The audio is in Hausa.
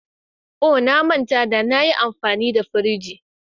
Oh! Na manta da na yi amfani da firij.